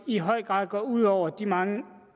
i høj grad går ud over de mange